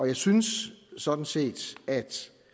jeg synes sådan set at